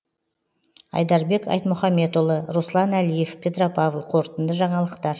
айдарбек айтмұхамбетұлы руслан әлиев петропавл қорытынды жаңалықтар